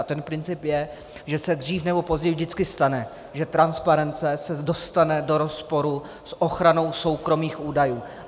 A ten princip je, že se dřív nebo později vždycky stane, že transparence se dostane do rozporu s ochranou soukromých údajů.